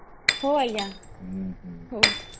ହଉ ଆଂଜ୍ଞା ହଉ